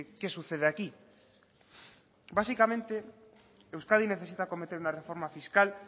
qué sucede aquí básicamente euskadi necesita acometer una reforma fiscal